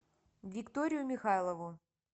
викторию михайлову